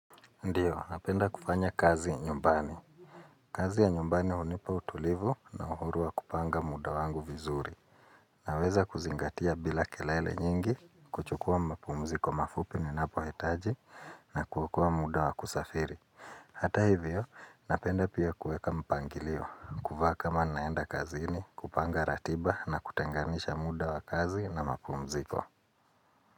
Ndio, napenda kufanya kazi nyumbani. Kazi ya nyumbani hunipa utulivu na uhuru wa kupanga muda wangu vizuri. Naweza kuzingatia bila kelele nyingi, kuchukua mapumziko mafupi ninapohitaji na kuokoa muda wa kusafiri. Hata hivyo, napenda pia kueka mpangilio, kuvaa kama naenda kazini, kupanga ratiba na kutenganisha muda wa kazi na mapumziko.